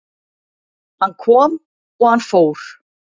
Hann kom og hann fór